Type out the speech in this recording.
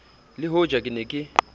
le hoja ke ne ke